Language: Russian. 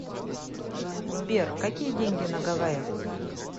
сбер какие деньги на гавайях